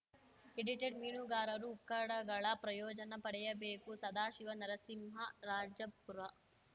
edited ಮೀನುಗಾರರು ಉಕ್ಕಡಗಳ ಪ್ರಯೋಜನ ಪಡೆಯಬೇಕು ಸದಾಶಿವ ನರಸಿಂಹರಾಜಪುರ